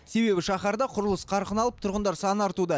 себебі шаһарда құрылыс қарқын алып тұрғындар саны артуда